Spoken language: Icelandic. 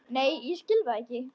Nei ég skil það ekki.